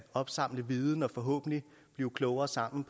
opsamle viden og forhåbentlig blive klogere sammen